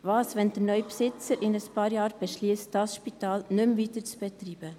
Was, wenn der neue Besitzer in einigen Jahren beschliesst, dieses Spital nicht mehr weiter zu betreiben?